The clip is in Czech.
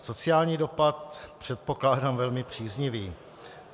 Sociální dopad předpokládám velmi příznivý.